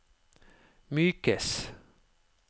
mykes